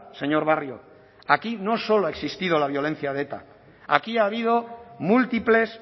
señor barrio aquí no solo ha existido la violencia de eta aquí ha habido múltiples